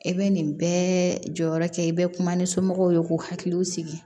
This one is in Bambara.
I bɛ nin bɛɛ jɔyɔrɔ kɛ i bɛ kuma ni somɔgɔw ye k'u hakiliw sigi